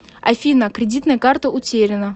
афина кредитная карта утеряна